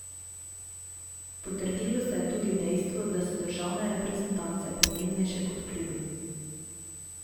Potrdilo se je tudi dejstvo, da so državne reprezentance pomembnejše kot klubi.